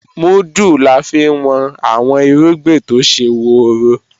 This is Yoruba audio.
Múdù la fi ń wọn àwọn irúgbìn tó ṣe woro